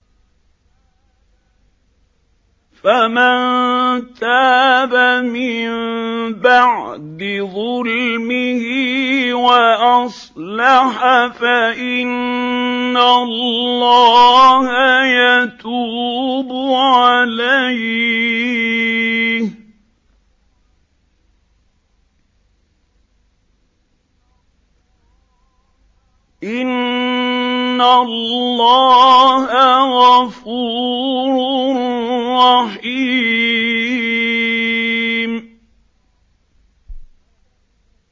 فَمَن تَابَ مِن بَعْدِ ظُلْمِهِ وَأَصْلَحَ فَإِنَّ اللَّهَ يَتُوبُ عَلَيْهِ ۗ إِنَّ اللَّهَ غَفُورٌ رَّحِيمٌ